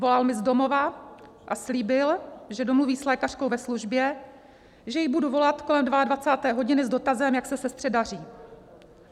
Volal mi z domova a slíbil, že domluví s lékařkou ve službě, že jí budu volat kolem 22 hodiny s dotazem, jak se sestře daří.